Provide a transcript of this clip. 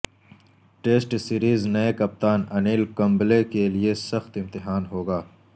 test series نئے کپتان انیل کمبلے کے لئے سخت امتحان ہو گا